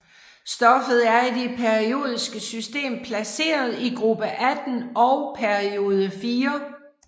Stoffet er i det periodiske system placeret i gruppe 18 og periode 4